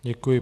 Děkuji.